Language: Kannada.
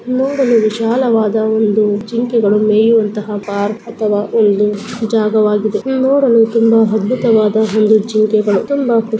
ನೋಡಲು ವಿಶಾಲವಾದ ಒಂದು ಜಿಂಕೆಗಳು ಮೇಯುವಂತಹ ಪಾರ್ಕ್ ಅಥವಾ ಒಂದು ಜಾಗವಾಗಿದೆ ನೋಡಲು ತುಂಬಾ ಅದ್ಭುತವಾದ ಒಂದು ಜಿಂಕೆಗಳು ತುಂಬಾ__